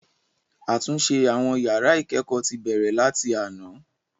Àtúnṣe àwọn yàrá ìkẹ́kọ̀ọ́ ti bẹ̀rẹ̀ láti àná.